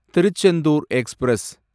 Tiruchendur express